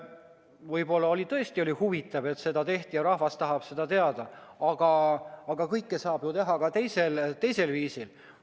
Võib-olla oli see teema tõesti huvitav ja rahvas tahab seda teada, aga kõike saab teha ka teisel viisil.